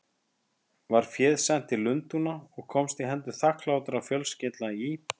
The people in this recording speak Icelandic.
Var féð sent til Lundúna og komst í hendur þakklátra fjölskyldna í